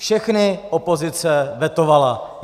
Všechny opozice vetovala.